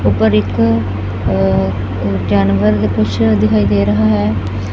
ਊਪਰ ਇੱਕ ਜਾਨਵਰ ਜਿਹਾ ਕੁਛ ਦਿਖਾਈ ਦੇ ਰਿਹਾ ਹੈ।